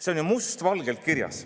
See on ju must valgel kirjas.